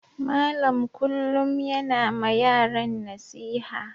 Malam kullum yana ma yaran nasiha.